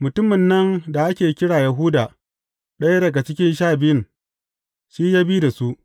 Mutumin nan da ake kira Yahuda, ɗaya daga cikin Sha Biyun, shi ya bi da su.